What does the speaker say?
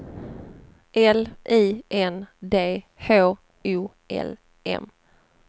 L I N D H O L M